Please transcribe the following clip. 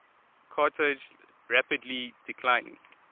carthage rapidly declining